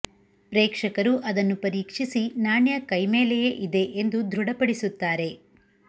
ಪ್ರೇಕ್ಷಕರು ಅದನ್ನು ಪರೀಕ್ಷಿಸಿ ನಾಣ್ಯ ಕೈ ಮೇಲೆಯೇ ಇದೆ ಎಂದು ದೃಢ ಪಡಿಸುತ್ತಾರೆ